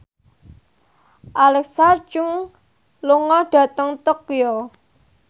Alexa Chung lunga dhateng Tokyo